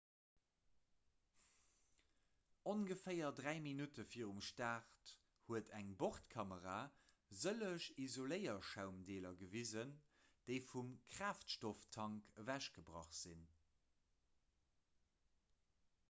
ongeféier 3 minutten virum start huet eng bordkamera sëlleg isoléierschaumdeeler gewisen déi vum kraaftstofftank ewechgebrach sinn